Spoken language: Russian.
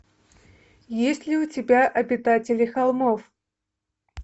есть ли у тебя обитатели холмов